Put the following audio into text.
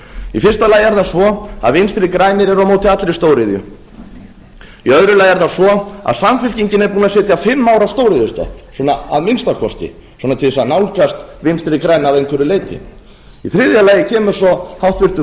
í fyrsta lagi er það svo að vinstri grænir eru á móti allri stóriðju í öðru lagi er það svo að samfylkingin er búin að sitja fimm ár á stóriðju að minnsta kosti svona til að nálgast vinstri græna að einhverju leyti í þriðja lagi kemur svo háttvirtur